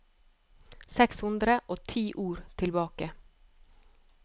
Seks hundre og ti ord tilbake